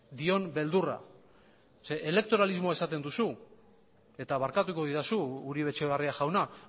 dion beldurra elektoralismoa esaten duzu eta barkatuko didazu uribe etxebarria jauna